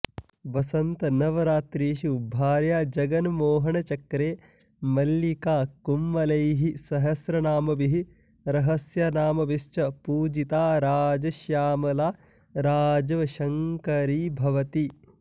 वसन्तनवरात्रिषु भार्याजगन्मोहनचक्रे मल्लिकाकुड्मलैः सहस्रनामभिः रहस्यनामभिश्च पूजिता राजश्यामला राजवशङ्करी भवति